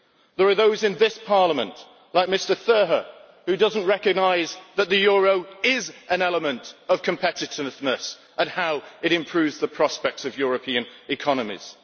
There are those in this Parliament, like Mr Theurer, who do not recognise that the euro is an element of competitiveness, and how it improves the prospects of European economies.